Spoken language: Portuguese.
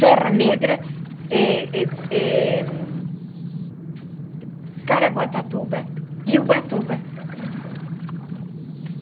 Serra Negra eh eh eh, Caraguatatuba e Ubatuba.